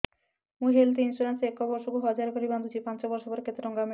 ମୁ health insurance ଏକ ବର୍ଷକୁ ହଜାର କରି ବାନ୍ଧୁଛି ପାଞ୍ଚ ବର୍ଷ ପରେ କେତେ ଟଙ୍କା ମିଳିବ